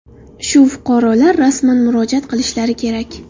Shu fuqarolar rasman murojaat qilishlari kerak.